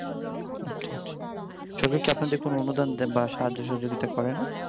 আচ্ছা আচ্ছা সরকার কি আপনাদের কোন অনুদান দেয়ন বা সাহায্য সহযোগিতা করে না?